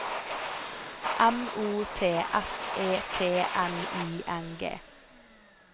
M O T S E T N I N G